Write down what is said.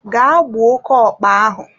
gaa gbuo oke okpa ahụ!